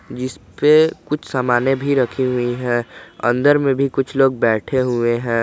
जिसपे कुछ सामने भी रखी हुई है अंदर में भी कुछ लोग बैठे हुए हैं।